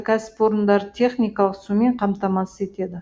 кәсіпорындарды техникалық сумен қамтамасыз етеді